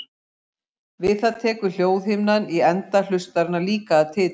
Við það tekur hljóðhimnan í enda hlustarinnar líka að titra.